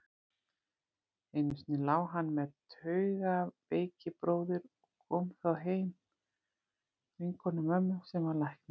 Einu sinni lá hann með taugaveikibróður og kom þá heim vinkona mömmu, sem var læknir.